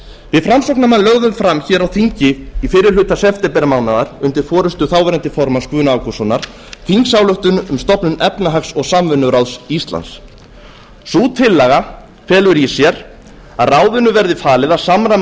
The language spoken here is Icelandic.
við framsóknarmenn lögðum fram hér á þingi í fyrri hluta septembermánaðar undir forustu þáv formanns guðna ágústssonar þingsályktun um stofnun efnahags og samvinnuráðs íslands sú tillaga felur í sér að ráðinu verði falið að samræma